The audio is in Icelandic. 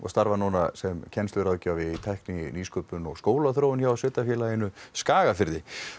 starfar núna sem kennsluráðgjafi í tækni nýsköpun og skólaþróun hjá sveitarfélaginu Skagafirði